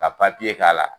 Ka k'a la